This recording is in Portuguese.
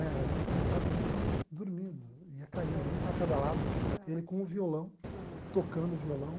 Né a gente sentado a gente ia dormindo, ia caindo, um para cada lado, ele com o violão, tocando o violão.